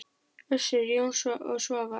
Össur, Jón og Svavar!